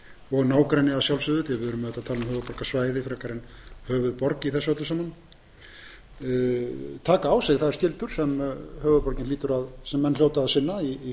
og nágrenni að sjálfsögðu því við erum auðvitað að tala um höfuðborgarsvæðið frekar en höfuðborg í þessu öllu saman taka á sig þær skyldur sem menn hljóta að sinna í